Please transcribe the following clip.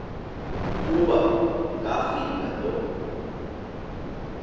kuba ngafika lo